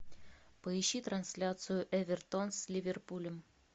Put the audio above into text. поищи трансляцию эвертон с ливерпулем